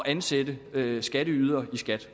ansætte skatteyderens skat